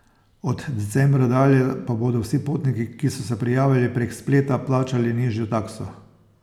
Od decembra dalje pa bodo vsi potniki, ki so se prijavili prek spleta, plačali nižjo takso.